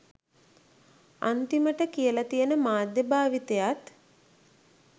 අන්තිමට කියලා තියෙන මාධ්‍යය භාවිතයත්